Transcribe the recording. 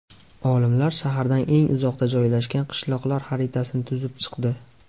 Olimlar shahardan eng uzoqda joylashgan qishloqlar xaritasini tuzib chiqdi.